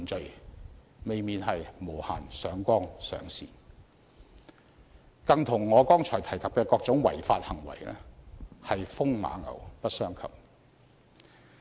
這未免是無限上綱上線，與我剛才提及的各種違法行為更是風馬牛不相及。